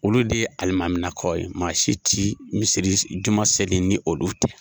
Olu de ye alimaminakaw ye ,maa si ti juma seli ni olu tɛ.